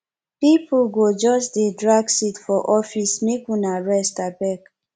pipo go just dey drag seat for office make una rest abeg